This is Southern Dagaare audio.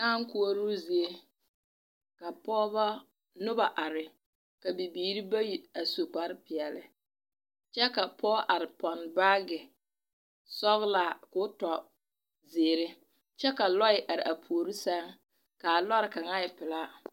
Dᾱᾱ koɔroo zie ka pɔgebɔ, noba are, ka bibiiri bayi a su kparepeɛle, kyɛ ka pɔge are pɔnne baage sɔglaa koo tɔ zeere, kyɛ ka lɔɛ araa puori sɛŋ, kaa lɔɔre kaŋa e pelaa.